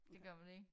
Det gør man ik